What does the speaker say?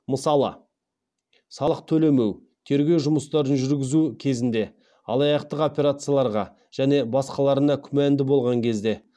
мысалы салық төлемеу тергеу жұмыстарын жүргізу кезінде алаяқтық операцияларға және басқаларына күмәнді болған кезде